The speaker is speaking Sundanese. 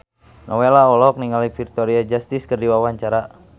Nowela olohok ningali Victoria Justice keur diwawancara